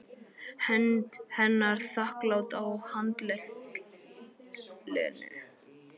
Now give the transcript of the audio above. Hönd hennar þakklát á handlegg Lenu.